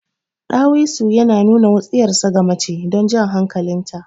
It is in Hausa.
Ɗawisu yana nuna wutsiyarsa ga mace don jan hankalin ta.